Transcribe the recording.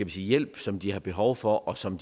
hjælp som de har behov for og som